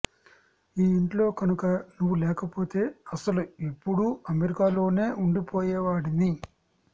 ఈ ఇంట్లో కనుక నువ్వు లేకపోతే అసలు ఎప్పుడూ అమెరికాలోనే వుండిపోయేవాడిని